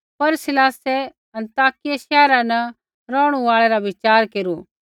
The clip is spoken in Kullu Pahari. पर सिलासै अन्ताकिया शैहरा न रौहणै रा विचार केरू